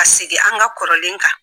Ka sigi an ka kɔrɔlen kan